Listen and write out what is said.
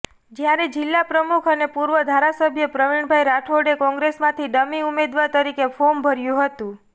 જ્યારે જિલ્લા પ્રમુખ અને પૂર્વ ધારાસભ્ય પ્રવિણભાઇ રાઠોડે કોંગ્રેસમાંથી ડમી ઉમેદવાર તરીકે ફોર્મ ભર્યું હતું